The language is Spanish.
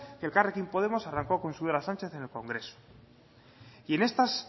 que elkarrekin podemos arrancó con sudor a sánchez en el congreso